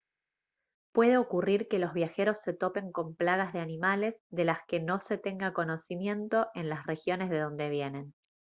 puede ocurrir que los viajeros se topen con plagas de animales de las que no se tenga conocimiento en las regiones de dónde vienen